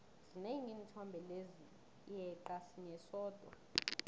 zinengi iinthombe lezi yeqa sinye sodwa